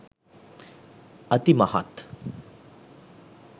අති මහත්